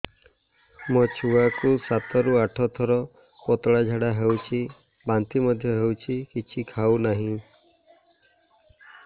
ମୋ ଛୁଆ କୁ ସାତ ରୁ ଆଠ ଥର ପତଳା ଝାଡା ହେଉଛି ବାନ୍ତି ମଧ୍ୟ୍ୟ ହେଉଛି କିଛି ଖାଉ ନାହିଁ